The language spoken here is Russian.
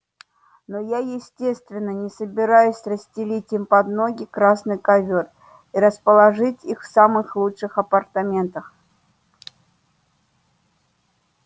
но я естественно не собираюсь расстелить им под ноги красный ковёр и расположить их в самых лучших апартаментах